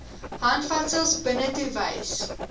handvatsels binnetoe wys